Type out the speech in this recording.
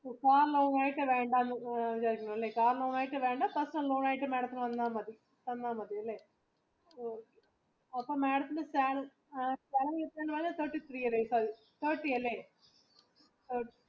Car ലോണായിട്ട് വേണ്ടാ personal ലോണായിട്ട് madamന് മതിയെല്ലേ അപ്പൊ madamന് thirty three thirty അല്ലെ?